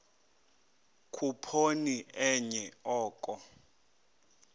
khuphoni enye oko